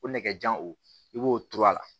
Ko nɛgɛjan o b'o turu a la